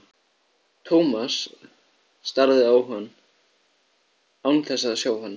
Thomas starði á hann án þess að sjá hann.